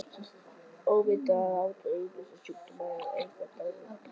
Offita er áhættuþáttur ýmissa sjúkdóma og eykur dánartíðni.